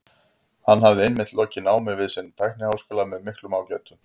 Hann hafði einmitt lokið námi við sinn tækniháskóla með miklum ágætum.